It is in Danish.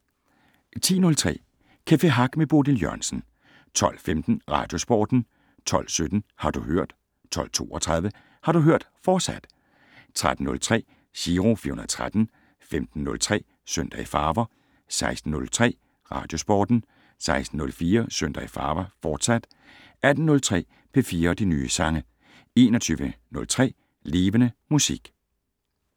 10:03: Café Hack med Bodil Jørgensen 12:15: Radiosporten 12:17: Har du hørt 12:32: Har du hørt, fortsat 13:03: Giro 413 15:03: Søndag i farver 16:03: Radiosporten 16:04: Søndag i farver, fortsat 18:03: P4 og de nye sange 21:03: Levende Musik